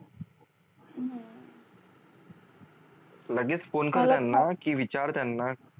लगेच फोन कर त्यांना की विचार त्यांना